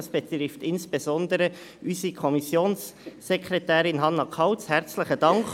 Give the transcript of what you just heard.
Dies betrifft insbesondere unsere Kommissionssekretärin Hannah Kauz: herzlichen Dank.